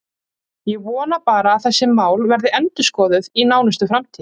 Ég vona bara að þessi mál verði endurskoðuð í nánustu framtíð.